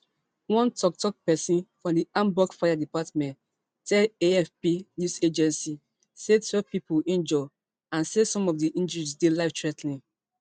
one toktok pesin for di hamburg fire department tell afp news agency say twelve pipo injure and say some of di injuries dey lifethrea ten ing